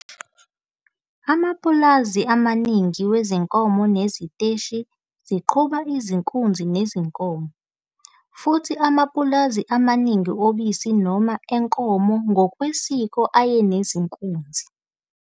Amapulazi amaningi wezinkomo neziteshi ziqhuba izinkunzi nezinkomo, futhi amapulazi amaningi obisi noma enkomo ngokwesiko ayenezinkunzi